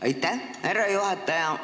Aitäh, härra juhataja!